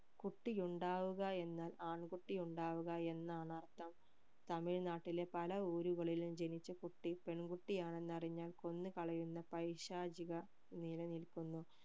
കുട്ടി ഉണ്ടാകുക എന്നാൽ ആൺ കുട്ടി ഉണ്ടാകുക എന്നാണ് അർഥം തമിഴ്നാട്ടിലെ പല ഊരുകളിലും ജനിച്ച കുട്ടി പെൺ കുട്ടി ആണെന്ന് അറിഞ്ഞാൽ കൊന്നു കളയുന്ന പൈശാചിക നിലനിൽക്കുന്നു